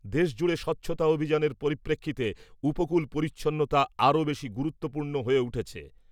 দেশ জুড়ে স্বচ্ছতা অভিযানের পরিপ্রেক্ষিতে উপকূল পরিচ্ছন্নতা আরও বেশী গুরুত্বপূর্ণ হয়ে উঠেছে ।